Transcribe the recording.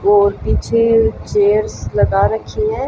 और पीछे चेयर्स लगा रखी है।